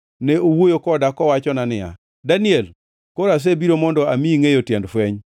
Ne owuoyo koda kowachona niya, “Daniel, koro asebiro mondo amiyi ngʼeyo tiend fweny.